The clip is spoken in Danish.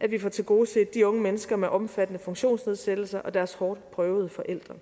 at vi får tilgodeset de unge mennesker med omfattende funktionsnedsættelse og deres hårdtprøvede forældre